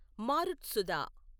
మారుత్సుధ